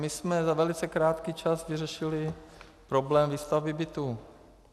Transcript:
My jsme za velice krátký čas vyřešili problém výstavby bytů.